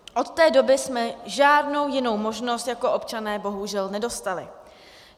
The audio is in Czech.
Od té doby jsme žádnou jinou možnost jako občané bohužel nedostali.